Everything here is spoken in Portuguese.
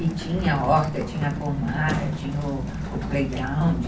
E tinha horta, tinha pomar, tinha o o playground.